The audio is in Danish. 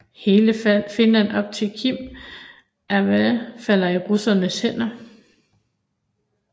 Hele Finland op til Kemi älv falder i russernes hænder